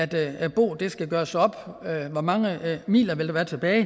dag når boet skal gøres op og hvor mange midler der vil være tilbage